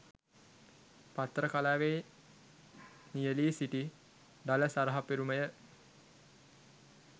පත්තර කලාවේ නියැලී සිටි ඩලස් අලහප්පෙරුමය.